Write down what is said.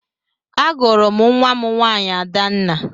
Agụrụ m nwa m nwaanyị Adanna.